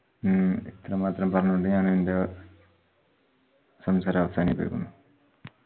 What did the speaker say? മ്മ് ഇത്രമാത്രം പറഞ്ഞുകൊണ്ട് ഞാൻ എന്റെ സംസാരം അവസാനിപ്പിക്കുന്നു.